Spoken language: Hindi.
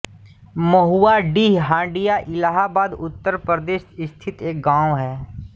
महुआडीह हंडिया इलाहाबाद उत्तर प्रदेश स्थित एक गाँव है